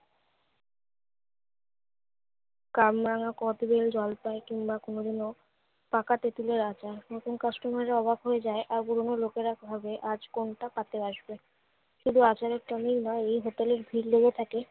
কামরাঙা, কদবেল, জলপাই কিংবা কোনো দিনও পাকা তেঁতুলের আঁচার। নতুন customer রা অবাক হয়ে যায় আর লোকেরা খোঁজে আজ কোনটা পাতে আসবে। শুধু আচারের time এই নয়, এই হোটেলে ভীড় লেগে থাকে